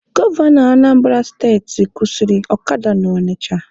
Gọvanọ Anambara steti kwụsịrị ọkada na Ọnịcha